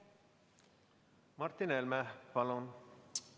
Martin Helme, palun!